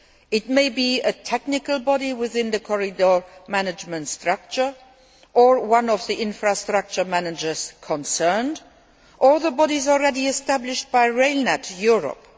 It may be a technical body within the corridor management structure, or one of the infrastructure managers concerned, or the bodies already established by Rail Net Europe.